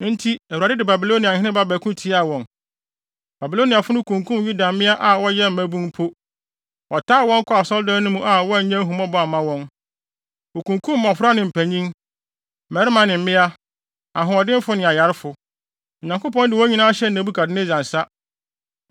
Enti Awurade de Babiloniahene ba bɛko tiaa wɔn. Babiloniafo no kunkum Yuda mmea a wɔyɛ mmabun mpo, wɔtaa wɔn kɔɔ Asɔredan no mu a wɔannya ahummɔbɔ amma wɔn. Wokunkum mmofra ne mpanyin, mmarima ne mmea, ahoɔdenfo ne ayarefo. Onyankopɔn de wɔn nyinaa hyɛɛ Nebukadnessar nsa.